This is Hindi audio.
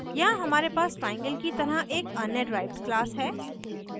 यहाँ हमारे पास triangle की तरह एक अन्य डिराइव्ड class है